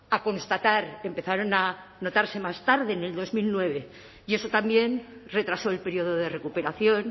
a constatar empezaron a notarse más tarde en dos mil nueve y eso también retrasó el periodo de recuperación